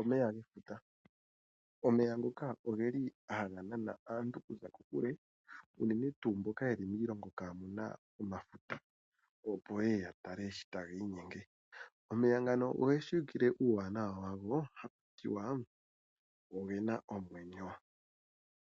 Omeya gefuta, omeya ngoka ogeli ha ga nana aantu okuza kokule unene tuu mboka yeli miilongo kaamuna omafuta opo yeye yatale shi tagiinyenge. Omeya ngano ogeshiwikile uuwanawa wago haku tiwa ogena omwenyo